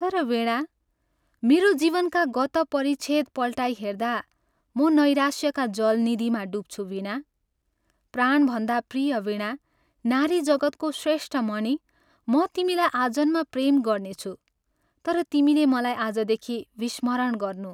तर वीणा, मेरो जीवनका गतः परिच्छेद पल्टाई हेर्दा म नैराश्यका जलनिधिमा डुब्छु वीणा, प्राणभन्दा प्रिय वीणा नारी जगत्को श्रेष्ठ मणि म तिमीलाई आजन्म प्रेम गर्नेछु तर तिमीले मलाई आजदेखि विस्मरण गर्नु।